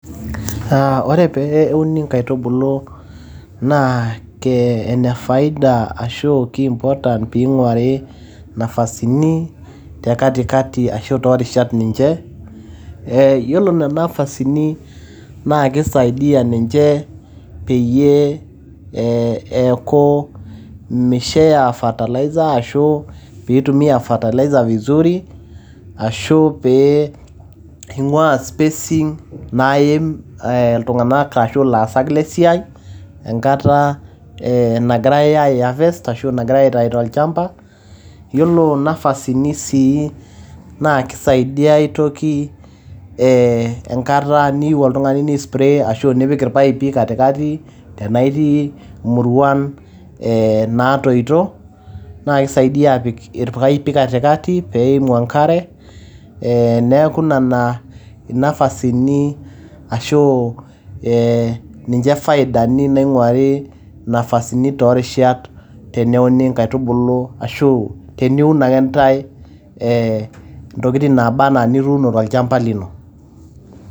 Ore pee euni nkaitubulu naa ee ene faida ashu ki important pee eing`uari nafasini te katikati ashu too rishat ninche. Eeeh yiolo nena nafasini naa keisaidia ninche peyie ee eeku misho eya fertilizer ashu pee eitumiya fertilizer vizuri, ashu pee eing`uaa spacing naaim iltung`anak ashu ilaasak le siai enkata nagirai ai harvest ashu nagirai aitayu tolchanba. Yiolo nafasini sii naa keisaidiayai aitoki enkata niyieu oltung`ani ni spray ashu nipik ipaipi katikati tenaaa itii muruan ee naatoito. Naa keisaidia aapik ilpaipi katikati pee eimu enkare niaku nena nafasini ashu ninche faidani naing`uari nafasini too rishat teneuni nkaitubulu ashu teniun akenta e ntokitin naaba anaa nituuno tolchamba lino.